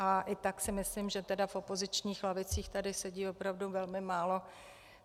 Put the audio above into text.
A i tak si myslím, že tedy v opozičních lavicích tady sedí opravdu velmi málo.